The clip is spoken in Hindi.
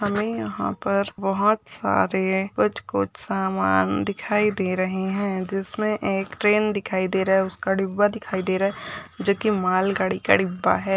हमें यहाँ पर बहुत सारे कुछ कुछ सामान दिखाई दे रहे हैं जिसमें एक ट्रेन दिखाई दे रहा है उसका डिब्बा दिखाई दे रहा है जो कि माल गाड़ी का डिब्बा है।